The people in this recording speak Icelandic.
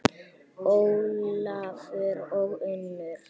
Ólafur og Unnur.